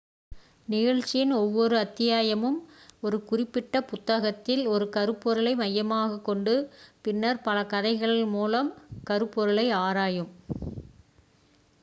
நிகழ்ச்சியின் ஒவ்வொரு அத்தியாயமும் ஒரு குறிப்பிட்ட புத்தகத்தில் ஒரு கருப்பொருளை மையமாகக் கொண்டு பின்னர் பல கதைகள் மூலம் அந்த கருப்பொருளை ஆராயும்